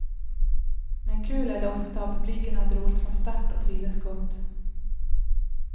Men kul är det ofta och publiken hade roligt från start och trivdes gott.